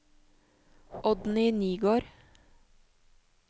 Oddny Nygård